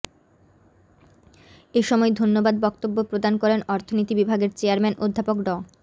এসময় ধন্যবাদ বক্তব্য প্রদান করেন অর্থনীতি বিভাগের চেয়ারম্যান অধ্যাপক ড